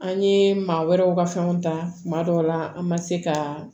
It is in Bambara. An ye maa wɛrɛw ka fɛnw ta kuma dɔw la an ma se ka